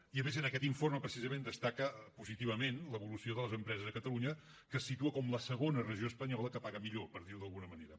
i a més en aquest informe precisament destaca positivament l’evolució de les empreses a catalunya que es situa com la segona regió espanyola que paga millor per dir ho d’alguna manera